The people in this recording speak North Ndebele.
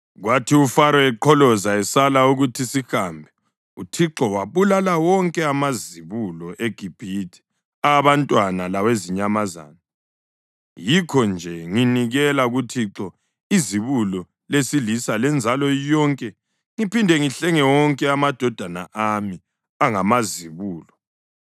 Kwathi uFaro eqholoza esala ukuthi sihambe, uThixo wabulala wonke amazibulo eGibhithe, awabantu lawezinyamazana. Yikho-nje nginikela kuThixo izibulo lesilisa lenzalo yonke ngiphinde ngihlenge wonke amadodana ami angamazibulo.’